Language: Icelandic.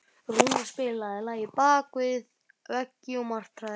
Rúnar, spilaðu lagið „Bak við veggi martraðar“.